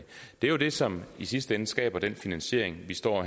det er det som i sidste ende skaber den finansiering vi står